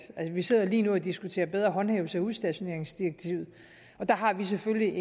vi sidder lige nu og diskuterer bedre håndhævelse af udstationeringsdirektivet og der har vi selvfølgelig